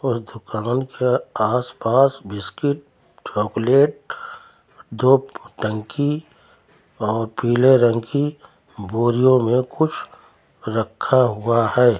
और दुकान के आसपास बिस्कुट चॉकलेट दो टंकी और पीले रंग की बोरियों में कुछ रखा हुआ है।